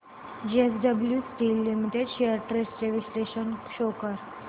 JSW steel limited shares trends चे विश्लेषण show कर